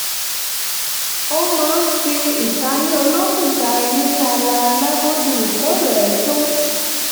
ó máa ń fi ìtayín olókùn ta eyín ní alaalẹ́ bó ti wù kó rẹ̀ ẹ́ tó lẹ́yìn iṣẹ́